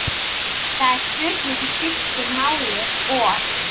Það er spurning hvað skiptir máli og.